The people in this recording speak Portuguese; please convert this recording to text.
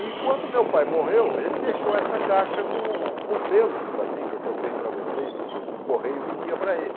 E quando meu pai morreu, ele deixou essa caixa com com selos para mim, que eu contei para vocês que o correio vendia para ele.